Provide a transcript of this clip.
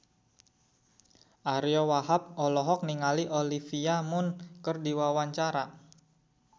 Ariyo Wahab olohok ningali Olivia Munn keur diwawancara